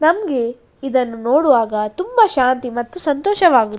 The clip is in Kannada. ನಮ್ಮಗೆ ಇದನ್ನು ನೋಡುವಾಗ ತುಂಬಾ ಶಾಂತಿ ಮತ್ತು ಸಂತೋಷವಾಗುತ್ತದೆ.